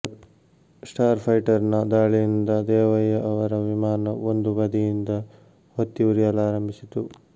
star ಫೈಟರ್ನ ದಾಳಿಯಿಂದ ದೇವಯ್ಯ ಅವರ ವಿಮಾನ ಒಂದು ಬದಿಯಿಂದ ಹೊತ್ತಿ ಉರಿಯಲಾರಂಭಿಸಿತು